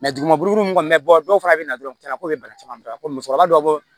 duguma buru kɔni mi bɔ dɔw fana bɛ na dɔrɔn caman na ko bɛ bana caman ko musokɔrɔba dɔ bɔ